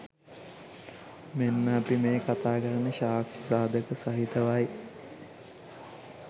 මෙන්න අප මේ කතා කරන්නේ සාක්‍ෂි සාධක සහිතවයි.